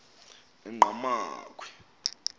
engqamakhwe